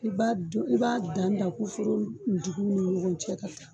I b'a dɔn i b'a dan dan ku foro dugun ma ni ɲɔgɔn cɛ ka taa